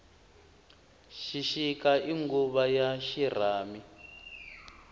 xixika i nguvu ya xirhami